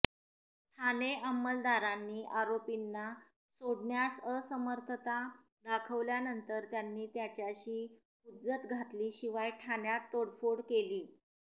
ठाणे अमंलदारांनी आरोपींना सोडण्यास असमर्थता दाखवल्यानंतर त्यांनी त्याच्याशी हुज्जत घातली शिवाय ठाण्यात तोडफोड केली